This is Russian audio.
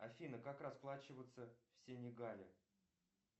афина как расплачиваться в сенегале